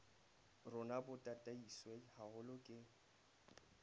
rona bo tataiswe haholo ke